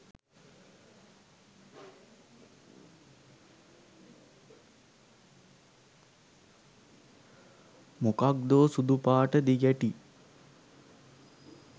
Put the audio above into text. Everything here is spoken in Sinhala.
මොකක්දෝ සුදු පාට දිගැටි